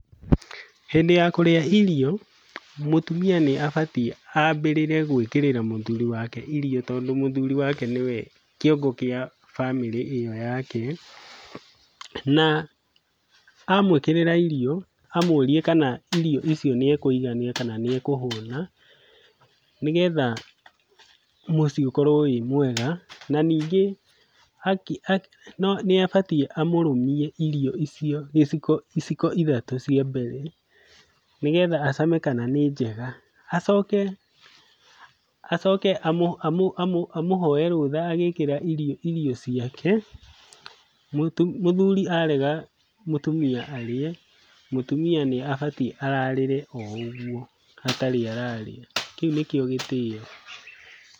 Hĩndĩ ya kũrĩa irio, mũtumia nĩabatiĩ ambĩrĩre gwĩkĩrĩra mũthuri wake irio tondũ mũthuri wake nĩwe kĩongo gĩa bamĩrĩ ĩyo yake. Na, amũĩkĩrĩra irio amũrie kana irio icio nĩekũigania kana nĩekũhũna, nĩgetha mũciĩ ũkorwo wĩ mwega. Na, ningĩ nĩabatiĩ amũrũmie irio icio gĩciko iciko ithatũ cia mbere, nĩgetha acame kana nĩ njega. Acoke acoke amũhoe rũtha agĩkĩa irio irio ciake, mũthuri arega mũtumia arĩe, mũtumia nĩabatiĩ ararĩre o ũguo atarĩ ararĩa, kĩu nĩkĩo gĩtĩo.